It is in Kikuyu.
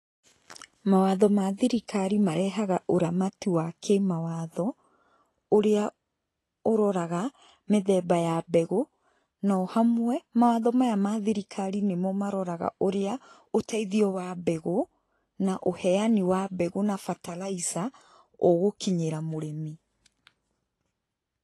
Mawatho ma thirikari marehaga ũramati wa kĩmawatho ũrĩa ũroraga mĩthemba ya mbegũ, na o hamwe mawatho maya ma thirikari nĩmo maroraga ũrĩa ũteithio wa mbegũ na ũheani wa bataraica ũgũkinyĩra mũrĩmi.